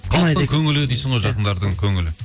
халықтың көңілі дейсің ғой жақындардың көңілі